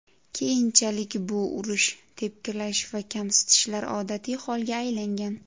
Keyinchalik bu urish, tepkilash va kamsitishlar odatiy holga aylangan.